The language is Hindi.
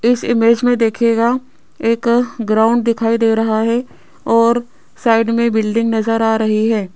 इस इमेज में देखिएगा एक ग्राउंड दिखाई दे रहा है और साइड में बिल्डिंग नजर आ रही है।